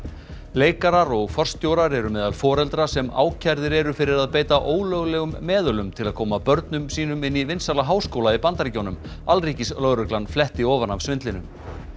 leikarar og forstjórar eru meðal foreldra sem ákærðir eru fyrir að beita ólöglegum meðölum til að koma börnum sínum inn í vinsæla háskóla í Bandaríkjunum alríkislögreglan fletti ofan af svindlinu